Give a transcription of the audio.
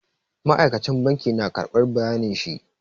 Ma'aikacin banki na karɓar bayanin shi.